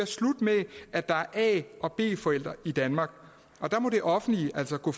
slut med at der er a og b forældre i danmark og der må det offentlige altså gå